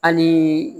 Hali